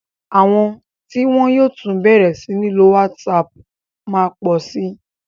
Àwọn tí wọ́n yóò tún bẹ̀rẹ̀ sí ní lo WhatsApp má pọ̀ sí.